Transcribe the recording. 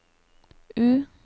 U